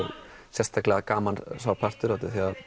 sérstaklega gaman sá partur út af því að